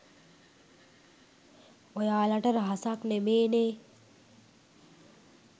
ඔයාලට රහසක් නෙමේනේ.